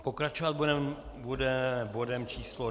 Pokračovat budeme bodem číslo